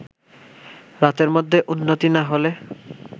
রাতের মধ্যে উন্নতি না হলে